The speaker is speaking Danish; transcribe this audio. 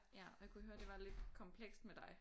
Ja og jeg kunne høre det var lidt komplekst med dig